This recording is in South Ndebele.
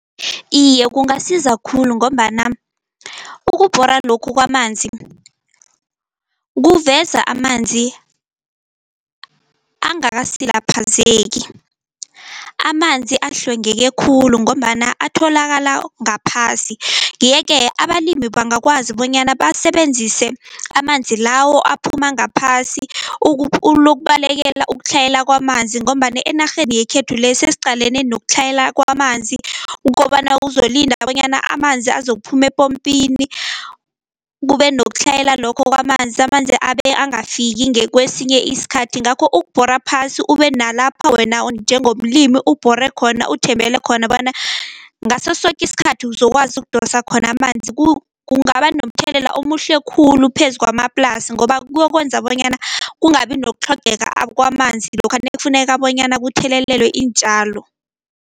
Iye kungasiza khulu ngombana ukubhora lokhu kwamanzi kuveza amanzi angakasilaphazeki amanzi ahlwengeke khulu, ngombana atholakala ngaphasi. Yeke abalimi bangakwazi bonyana basebenzise amanzi lawo aphuma ngaphasi, ukubalekela ukutlhayela kwamanzi, ngombana enarheni yekhethu le sesiqalene nokutlhayela kwamanzi kobana uzolinda bonyana amanzi azokuphuma epompini, kube nokutlhayela lokho kwamanzi amanzi abe angafiki ngekwesinye isikhathi. Ngakho ukubhora phasi ube nalapha wena njengomlimi ubhore khona, uthembele khona bona ngaso soke isikhathi uzokwazi ukudosa khona amanzi kungaba nomthelela omuhle khulu phezu kwamaplasi, ngoba kuyokwenza bonyana kungabi nokutlhogeka kwamanzi lokha nekufuneka bonyana kuthelelelwe iintjalo.